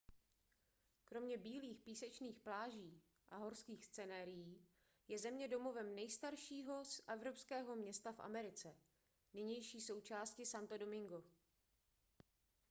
kromě bílých písečných pláží a horských scenérií je země domovem nejstaršího evropského města v americe nynější součásti santo domingo